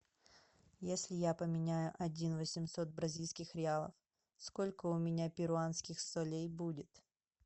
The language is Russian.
если я поменяю один восемьсот бразильских реалов сколько у меня перуанских солей будет